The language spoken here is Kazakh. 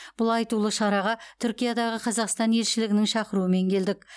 бұл айтулы шараға түркиядағы қазақстан елшілігінің шақыруымен келдік